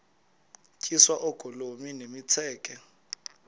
tyiswa oogolomi nemitseke